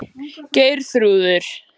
Geirþrúður